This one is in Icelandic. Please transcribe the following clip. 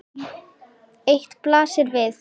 Eitt blasir við.